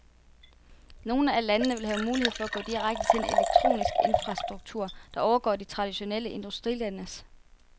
Nogle af landene vil have mulighed for at gå direkte til en elektronisk infrastruktur, der overgår de traditionelle industrilandes.